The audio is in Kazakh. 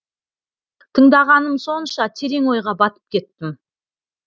тыңдағаным сонша терең ойға батып кеттім